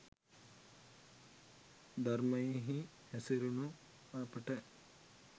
ධර්මයෙහි හැසිරුණු අපට